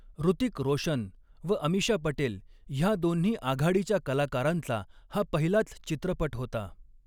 ॠतिक रोशन व अमिशा पटेल ह्या दोन्ही आघाडीच्या कलाकारांचा हा पहिलाच चित्रपट होता.